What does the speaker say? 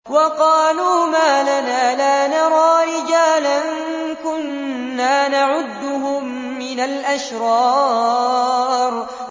وَقَالُوا مَا لَنَا لَا نَرَىٰ رِجَالًا كُنَّا نَعُدُّهُم مِّنَ الْأَشْرَارِ